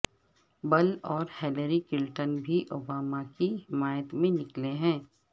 بل اور Hillary Clinton بھی Obama کی حمایت میں نکلے ہیں